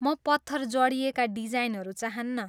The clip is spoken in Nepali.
म पत्थर जडिएका डिजाइनहरू चाहन्नँ।